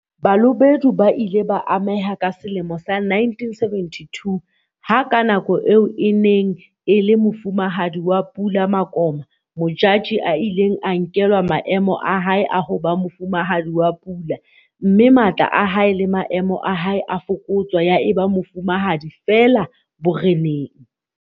Balobedu ba ile ba ameha ka selemo sa 1972 ha ka nako eo e neng e le Mofumahadi wa Pula Makoma Modjadji a ileng a nkelwa maemo a hae a ho ba Mofumahadi wa Pula mme matla a hae le maemo a hae a fokotswa ya eba mofumahadi feela boreneng.